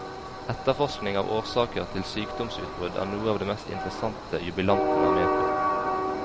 Etterforskning av årsaker til sykdomsutbrudd er noe av det mest interessante jubilanten er med på.